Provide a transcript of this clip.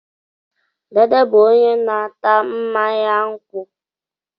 Dede bụ onye na-ata mmanya nkwụ.